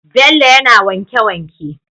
Bello yAna wanke wanke